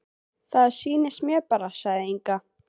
Það sýnist mér bara, sagði Inga.